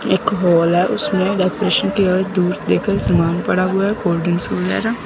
एक हॉल है उसमें सामान पड़ा हुआ है कोल्ड ड्रिंक्स वगैरह।